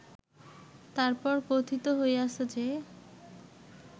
তার পর কথিত হইয়াছে যে